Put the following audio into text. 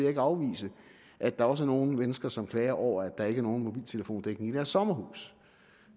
ikke afvise at der også er nogle mennesker som klager over at der ikke er nogen mobiltelefondækning i deres sommerhus